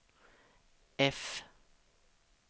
F